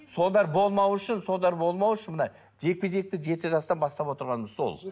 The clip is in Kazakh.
солар болмау үшін солар болмау үшін мына жекпе жекті жеті жастан бастап отырғанымыз сол